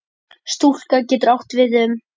Stúka getur átt við um